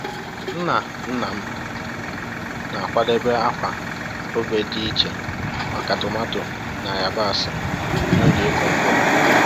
Nna nna m m na-akwadebe akwa obe dị iche maka tomato na yabasị n’oge ịkụ mkpụrụ